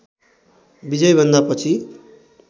विजयभन्दा पछि